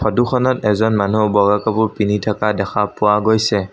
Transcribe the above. ফটোখনত এজন মানু্হ বগা কাপোৰ পিন্ধি থকা দেখা পোৱা গৈছে।